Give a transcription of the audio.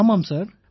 ஆமாம் சார்